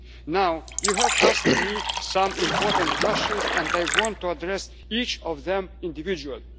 issue. Now, you have asked me some important questions and I want to address each of them individually.